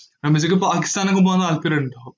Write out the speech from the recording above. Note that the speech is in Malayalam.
റമീസക്ക് പാക്കിസ്ഥാനൊക്കെ പോവാൻ താൽപര്യോണ്ടോ?